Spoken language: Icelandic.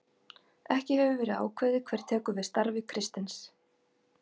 Ekki hefur verið ákveðið hver tekur við starfi Kristins.